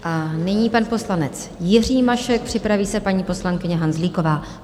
A nyní pan poslanec Jiří Mašek, připraví se paní poslankyně Hanzlíková.